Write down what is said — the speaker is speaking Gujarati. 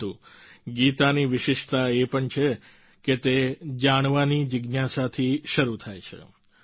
પરંતુ ગીતાની વિશિષ્ટતા એ પણ છે કે તે જાણવાની જિજ્ઞાસાથી શરૂ થાય છે